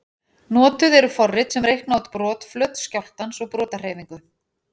Notuð eru forrit sem reikna út brotflöt skjálftans og brotahreyfingu.